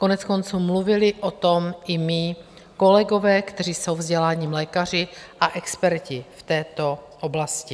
Koneckonců mluvili o tom i mí kolegové, kteří jsou vzděláním lékaři a experti v této oblasti.